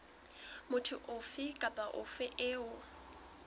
motho ofe kapa ofe eo